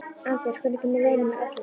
Anders, hvenær kemur leið númer ellefu?